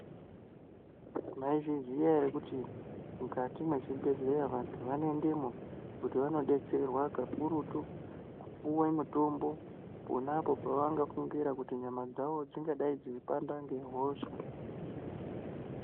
Maizviziya here kuti mwukati mwezvibhedhleya vantu vanoendemo kuti vanobetserwa kakurutu, kupuwe mutombo ponapo pavangafungira kuti nyama dzavo dzingadai dzeipanda ngehosha.